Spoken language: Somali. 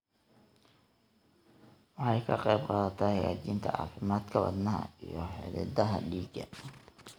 Waxay ka qaybqaadataa hagaajinta caafimaadka wadnaha iyo xididdada dhiigga.